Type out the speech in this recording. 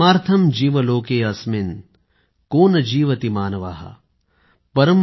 आत्मार्थम् जीव लोके अस्मिन् को न जीवति मानवः ।